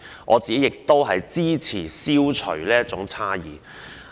我支持消除這種差異。